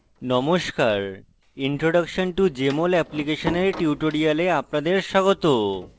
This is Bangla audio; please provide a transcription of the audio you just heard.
নমস্কার introduction to jmol application এর tutorial আপনাদের স্বাগত